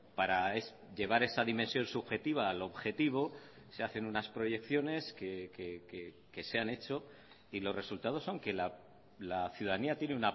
para llevar esa dimensión subjetiva al objetivo se hacen unas proyecciones que se han hecho y los resultados son que la ciudadanía tiene